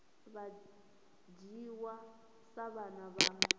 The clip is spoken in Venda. vha dzhiwa sa vhana vha